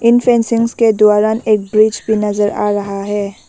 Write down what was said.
इन fencings के दौरान एक ब्रिज भी नजर आ रहा है।